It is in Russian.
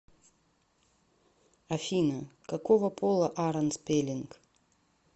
афина какого пола аарон спеллинг